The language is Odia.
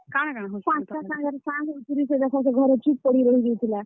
ପାଞ୍ଚଟା ସାଙ୍ଗର୍ ସାଙ୍ଗ ହେଇକରି ସେ ଦେଖ ଚୁପ୍ ପଡି ରହିଯାଉଥିଲା।